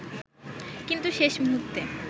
কিন্তু শেষ মুহূর্তে